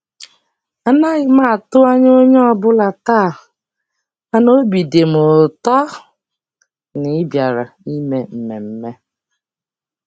Anaghị m atụ anya onye ọbụla taa, mana obi dị m m ụtọ na ị bịara ime mmemme.